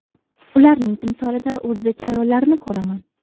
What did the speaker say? Ularning timsolida o‘zbek ayollarini ko‘raman.